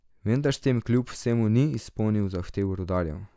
Vendar s tem kljub vsemu ni izpolnil zahtev rudarjev.